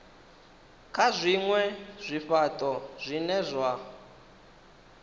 kana zwinwe zwifhato zwine zwa